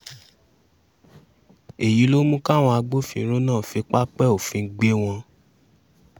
èyí ló mú káwọn agbófinró náà fi pápẹ́ òfin gbé gbé wọn